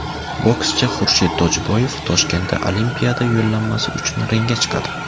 Bokschi Xurshid Tojiboyev Toshkentda Olimpiada yo‘llanmasi uchun ringga chiqadi.